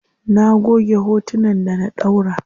Na goge hotunan da na ɗaura.